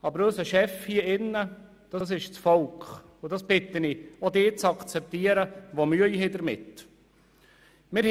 Aber unser Chef hier im Grossen Rat ist das Volk, und ich bitte auch diejenigen, die damit Mühe haben, das zu akzeptieren.